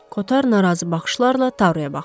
Kotar narazı baxışlarla Taruya baxdı.